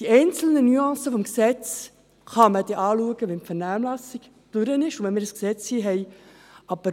Die einzelnen Nuancen des Gesetzes kann man dann anschauen, wenn die Vernehmlassung durch ist und wir das Gesetz hier haben.